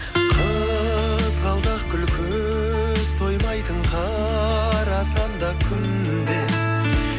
қызғалдақ гүл көз тоймайтын қарасам да күнде